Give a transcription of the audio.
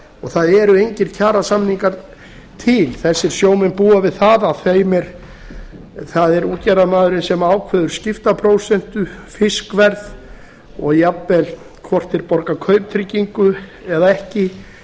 það eru engir kjarasamningar til þessir sjómenn búa við að það er útgerðarmaðurinn sem ákveður skiptaprósentu fiskverð og jafnvel hvort þeir borga kauptryggingu eða ekki